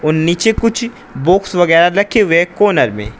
और नीचे कुछ बॉक्स वगैरह रखे हुए हैं कॉर्नर में।